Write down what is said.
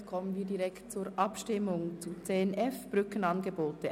Somit kommen wir direkt zur Abstimmung über den Themenblock 10.f Brückenangebote.